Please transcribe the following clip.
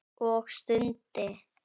Og stundi.